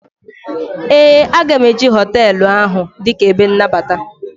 ee, a ga m eji hotelu ahụ dịka ebe nnabata